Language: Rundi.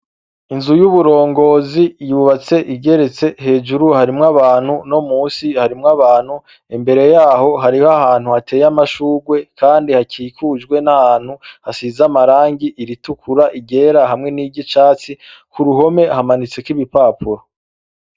Inzu y’uburongozi yubatse igeretse, hejuru harimwo abantu no munsi harimwo abantu, imbere yaho hariho ahantu hateye amashugwe kandi hakikujwe nahantu hasize amarangi iritukura, iryera hamwe n’iryicatsi kuruhome hamanitseko ibipapuro.